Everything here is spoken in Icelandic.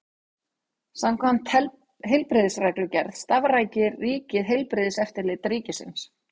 Samkvæmt heilbrigðisreglugerð starfrækir ríkið Heilbrigðiseftirlit ríkisins.